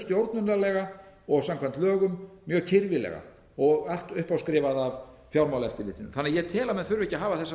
stjórnunarlega og samkvæmt lögum mjög kirfilega og allt uppáskrifað af fjármálaeftirlitinu þannig að ég tel að menn þurfi ekki að hafa þessar